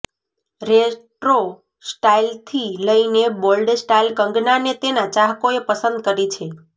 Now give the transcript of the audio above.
retro સ્ટાઈલથી લઈને bold style કંગનાને તેના ચાહકોએ પસંદ કરી છે